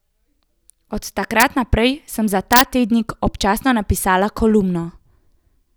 Od takrat naprej sem za ta tednik občasno napisala kolumno.